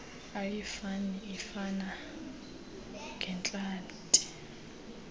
ayifani ifana ngeentlanti